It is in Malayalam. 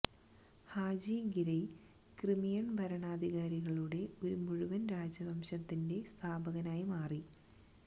ഹാജി ഗിരയ് ക്രിമിയൻ ഭരണാധികാരികളുടെ ഒരു മുഴുവൻ രാജവംശത്തിന്റെ സ്ഥാപകനായ മാറി